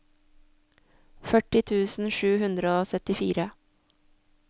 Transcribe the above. førti tusen sju hundre og syttifire